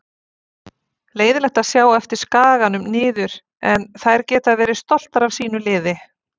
Leiðinlegt að sjá á eftir Skaganum niður en þær geta verið stoltar af sínu liði.